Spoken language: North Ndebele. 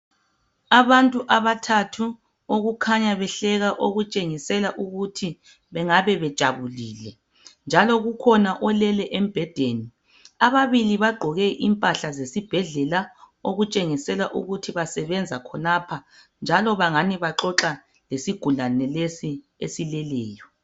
Abantu abathathu okukhanya behleka okutshengisela ukuthi bengabe bejabulile njalo kukhona olele embhedeni ababili baqgoke impahla zesibhedlela okutshengisela ukuthi basebenza khonapha njalo bangani baxoxa lesigulani lesi esileleyo